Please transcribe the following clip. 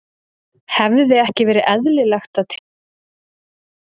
Hefði ekki verið eðlilegt að tilkynna mér það?